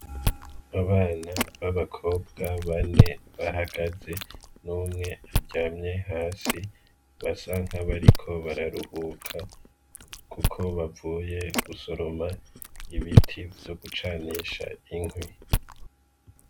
Abana b'abakobwa bane bahagaze n'umwe ajyamye hasi ba sanka bariko bararuhuka, kuko bavuye gusoroma ibiti vyo gucanisha inkwi.